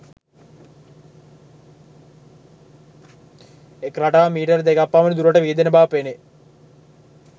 එක් රටාවක් මීටර් දෙකක් පමණ දුරට විහිදෙන බව පෙනේ